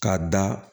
K'a da